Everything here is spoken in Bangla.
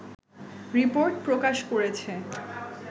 রিপোর্ট প্রকাশ করেছে